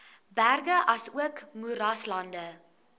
berge asook moeraslande